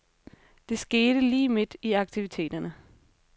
Det skete lige midt i aktiviteterne.